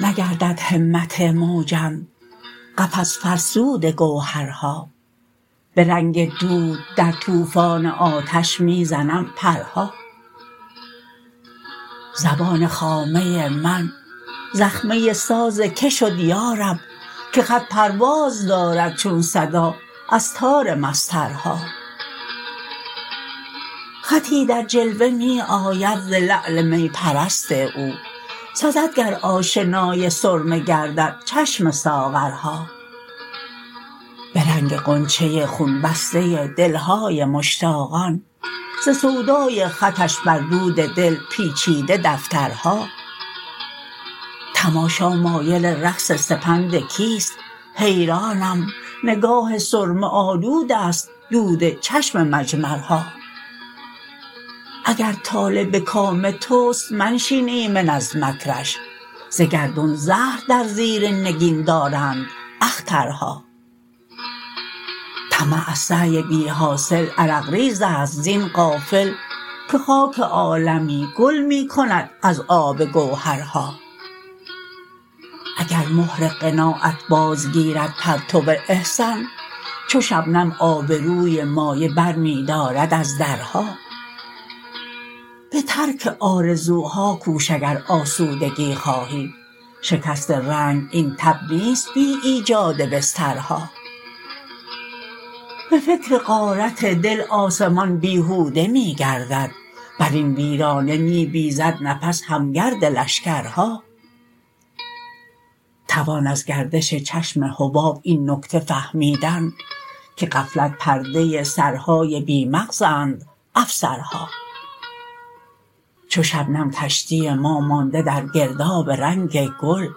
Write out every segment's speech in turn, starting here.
نگردد همت موجم قفس فرسود گوهرها به رنگ دود در توفان آتش می زنم پرها زبان خامه من زخمه ساز که شد یارب که خط پرواز دارد چونا صدا از تار مسطرها خطی در جلوه می آید ز لعل می پرست او سزد گر آشنای سرمه گردد چشم ساغرها به رنگ غنچه خون بسته دلهای مشتاقان ز سودای خطش بر دود دل پیچیده دفترها تماشا مایل رقص سپند کیست حیرانم نگاه سرمه آلود است دود چشم مجمرها اگر طالع به کام توست منشین ایمن از مکرش ز گردون زهر در زیر نگین دارند اخترها طمع از سعی بیحاصل عرق ریزست زین غافل که خاک عالمی گل می کند از آب گوهرها اگر مهر قناعت بازگیرد پرتو احسان چو شبنم آبروی مایه برمی دارد از درها به ترک آرزوها کوش اگر آسودگی خواهی شکست رنگ این تب نیست بی ایجاد بسترها به فکر غارت دل آسمان بیهوده می گردد بر این ویرانه می بیزد نفس هم گرد لشکرها توان از گردش چشم حباب این نکته فهمیدن که غفلت پرده سرهای بی مغزند افسرها چو شبنم کشتی ما مانده در گرداب رنگ گل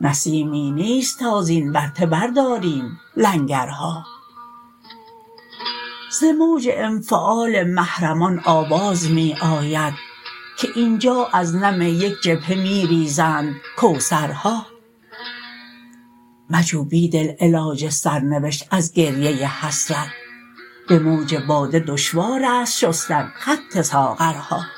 نسیمی نیست تا زین ورطه برداریم لنگرها ز موج انفعال محرمان آواز می آید که اینجا از نم یک جبهه می ریزند کوثرها مجو بیدل علاج سرنوشت از گریه حسرت به موج باده دشوار است شستن خط ساغرها